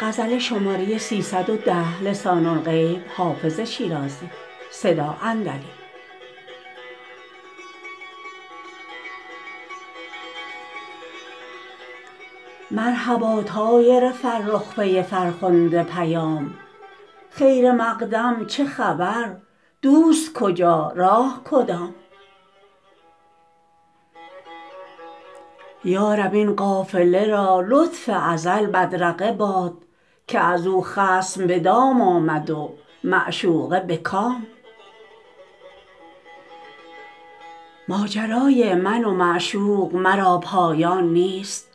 مرحبا طایر فرخ پی فرخنده پیام خیر مقدم چه خبر دوست کجا راه کدام یا رب این قافله را لطف ازل بدرقه باد که از او خصم به دام آمد و معشوقه به کام ماجرای من و معشوق مرا پایان نیست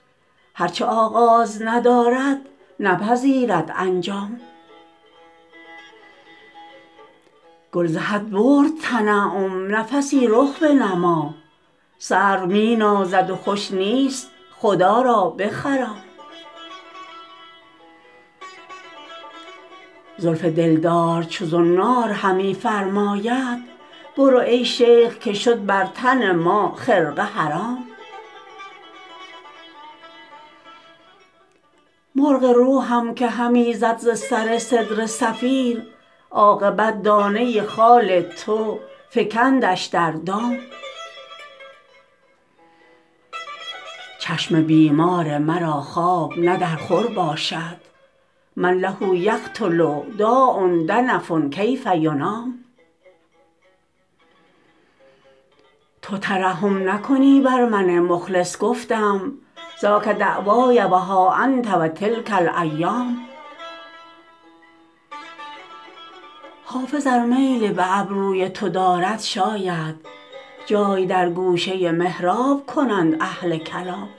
هر چه آغاز ندارد نپذیرد انجام گل ز حد برد تنعم نفسی رخ بنما سرو می نازد و خوش نیست خدا را بخرام زلف دلدار چو زنار همی فرماید برو ای شیخ که شد بر تن ما خرقه حرام مرغ روحم که همی زد ز سر سدره صفیر عاقبت دانه خال تو فکندش در دام چشم بیمار مرا خواب نه در خور باشد من له یقتل داء دنف کیف ینام تو ترحم نکنی بر من مخلص گفتم ذاک دعوای و ها انت و تلک الایام حافظ ار میل به ابروی تو دارد شاید جای در گوشه محراب کنند اهل کلام